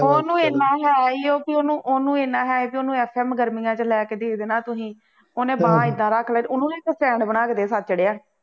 ਹੁਣ ਉਹਨੂੰ ਐਨਾ ਹੈ ਹੀ ਕਿ ਉਹਨੂੰ ਐਨਾ ਹੈ ਉਹਨੂੰ ਇਸ time ਗਰਮੀਆਂ ਚ ਲੈ ਕੇ ਦੇ ਦੇਣਾ ਤੁਸੀਂ ਉਹਨੇ ਬਾਂਹ ਏਦਾਂ ਰੱਖ ਲੈ, ਉਹਨੂੰ ਨੂੰ ਨਹੀਂ ਇੱਕ stand ਬਣਾ ਕੇ ਦੇ ਸਕਦੇ ਚੜ੍ਹਿਆ